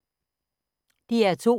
DR2